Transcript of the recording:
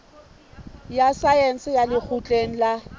ya saense ya lekgotleng la